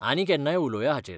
आनी केन्नाय उलोवया हाचेर.